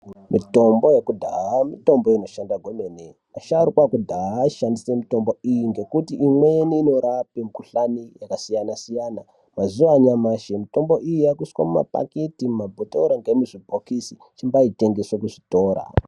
Mitombo yakudhaya mitombo inoshanda gwemene, vasharukwa vakudhaya ayishandisa mitombo iyi nekuti imweni inorape mikuhlane yakasiyana siyana .Mazuva anyamashi mitombo iyi yaakuiswa mumapakiti ,mumabhotora ngemuzvibhokisi ichitengeswe muzvitora.